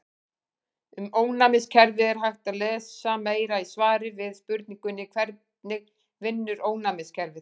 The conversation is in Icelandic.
Um ónæmiskerfið er hægt að lesa meira í svari við spurningunni Hvernig vinnur ónæmiskerfið?